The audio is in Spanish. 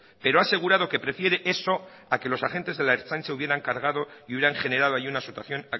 pero ha asegurado que prefiere eso a que los agentes de la ertzaintza hubieran cargado y hubieran generado allí una situación